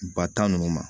Ba tan nunnu ma